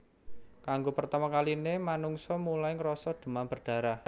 Kanggo pertama kaline manungsa mulai ngrasa demam berdarah